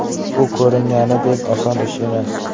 Bu ko‘ringanidek oson ish emas.